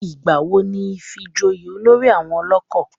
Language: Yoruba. Ìgbà wo ni ifijoyè olórí àwọn ọlọ́kọ̀?